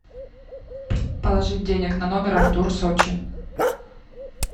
положить денег на номер артур сочи